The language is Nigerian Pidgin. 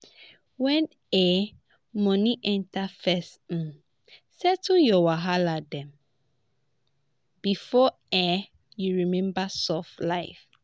when um money enter first um settle your wahala dem before um you remember soft life.